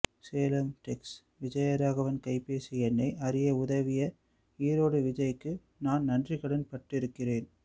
Salem Tex Vijayaraghavan கைப்பேசி எண்ணை அறிய உதவிய ஈரோடு விஜய்க்கு நான் நன்றிக்கடன் பட்டு இருக்கிறேன்